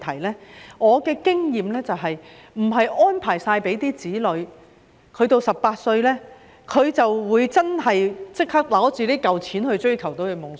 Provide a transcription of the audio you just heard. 根據我的經驗，即使為子女作好全面安排，到他們18歲時也未必會立即拿着這筆錢追求夢想。